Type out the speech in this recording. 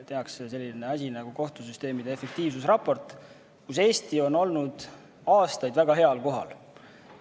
Tehakse selline asi nagu kohtusüsteemide efektiivsusraport, milles Eesti on olnud aastaid väga heal kohal.